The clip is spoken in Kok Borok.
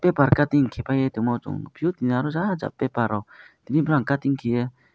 paper cutting keipai tongmo chong nog piyo tini oro jar jar paper rok tini borong cutting kaye.